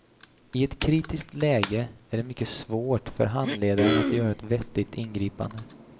I ett kritiskt läge är det mycket svårt för handledaren att göra ett vettigt ingripande.